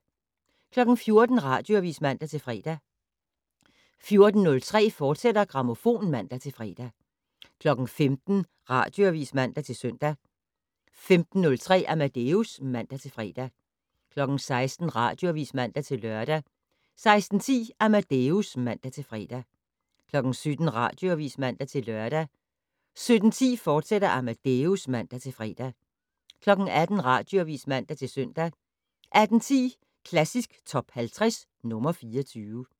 14:00: Radioavis (man-fre) 14:03: Grammofon, fortsat (man-fre) 15:00: Radioavis (man-søn) 15:03: Amadeus (man-fre) 16:00: Radioavis (man-lør) 16:10: Amadeus (man-fre) 17:00: Radioavis (man-lør) 17:10: Amadeus, fortsat (man-fre) 18:00: Radioavis (man-søn) 18:10: Klassisk Top 50 - nr. 24